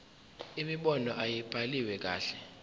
imibono ayibhaliwe kahle